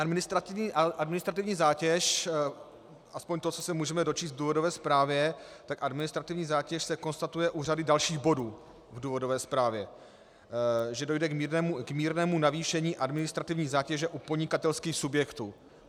Administrativní zátěž, aspoň to, co se můžeme dočíst v důvodové zprávě, tak administrativní zátěž se konstatuje u řady dalších bodů v důvodové zprávě - že dojde k mírnému navýšení administrativní zátěže u podnikatelských subjektů.